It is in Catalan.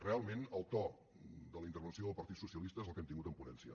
realment el to de la intervenció del partit socia lista és el que hem tingut en ponència